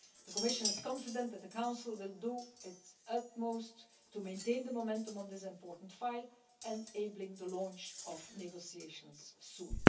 The Commission is confident that the Council will do its utmost to maintain the momentum on this important file, enabling the launch of negotiations soon.